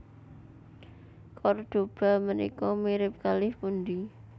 Kordoba menika mirip kalih pundi